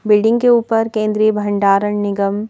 building के ऊपर केंद्रीय भंडारण निगम--